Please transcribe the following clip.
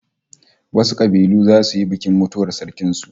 Wasu kabilu zasu yi bikin mutuwar sarkin su